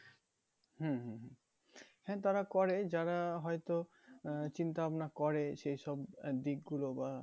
হম হম হম হ্যাঁ তারা করে যারা হয়তো আহ চিন্তা ভাবনা করে সেই সব আহ দিক গুলো বা